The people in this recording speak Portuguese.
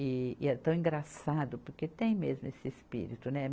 E é tão engraçado, porque tem mesmo esse espírito, né?